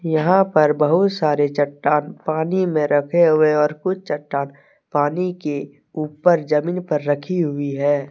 यहां पर बहुत सारे चट्टान पानी में रखे हुए और कुछ चट्टान पानी के ऊपर जमीन पर रखी हुई है।